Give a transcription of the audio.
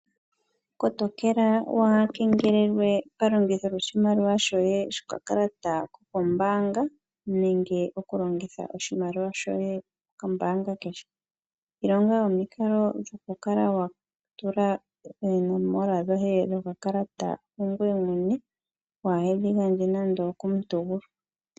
Kotokela waa kengelelwe palongitho lyoshimaliwa shoye shokakalata ko kombaanga nenge oku longitha oshimaliwa shoye kombaanga kehe. Ilonga omikalo dhoku kala wa tula oonomola dhoye dho kakalata ku ngoye mwene waa hedhi gandje nando okomuntu gumwe